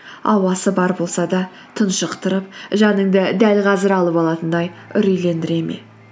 ауасы бар болса да тұншықтырып жаныңды дәл қазір алып алатындай үрейлендіре ме